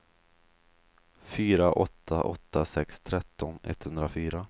fyra åtta åtta sex tretton etthundrafyra